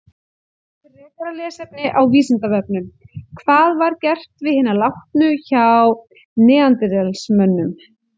Frekara lesefni á Vísindavefnum: Hvað var gert við hina látnu hjá neanderdalsmönnum?